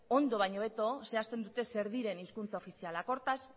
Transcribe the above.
ondo baino hobeto zehazten duten zer diren hizkuntza ofizialak hortaz